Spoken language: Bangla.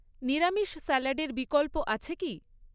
নিরামিষ স্যালাডের বিকল্প আছে কি?